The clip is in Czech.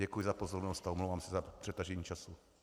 Děkuji za pozornost a omlouvám se za přetažení času.